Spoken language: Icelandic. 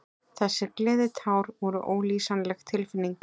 Þessi gleðitár voru ólýsanleg tilfinning.